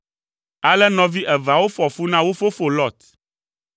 Ale nɔvi eveawo fɔ fu na wo fofo Lot.